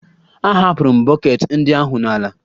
Ahapụrụ m bọket ndị ahụ n'ala